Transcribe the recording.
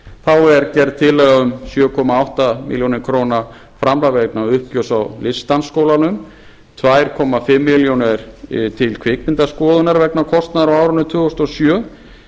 þá er gerð tillaga um sjö komma átta milljónir króna framlag vegna uppgjörs á listdansskólans tvö og hálfa milljón króna til kvikmyndaskoðunar vegna kostnaðar á árinu tvö þúsund og sjö